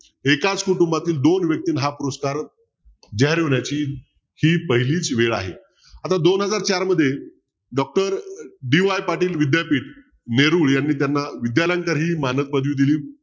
एकाच कुटुंबातील दोन व्यक्तींना हा पुरस्कार जाहीर होण्याची ही पहिलीच वेळ आहे. आता दोन हजार चार मध्ये doctorDY पाटील विद्यापीठ नेहरू यांनी त्यांना विद्यालंकार ही मानक पदवी दिली.